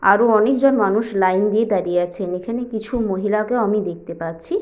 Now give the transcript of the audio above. আরো অনেকজন মানুষ লাইন দিয়ে দাঁড়িয়ে আছেন এখানে কিছু মহিলাকেও আমি দেখতে পাচ্ছি।